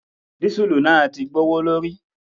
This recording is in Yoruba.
Dísùlù náà ti gbowo lórí.